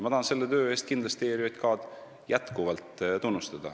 Ma tahan selle töö eest kindlasti ERJK-d tunnustada.